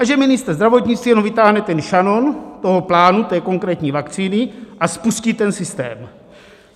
A že ministr zdravotnictví jenom vytáhne ten šanon toho plánu, té konkrétní vakcíny, a spustí ten systém.